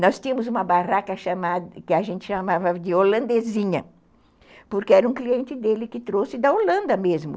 Nós tínhamos uma barraca que a gente chamava de holandesinha, porque era um cliente dele que trouxe da Holanda mesmo.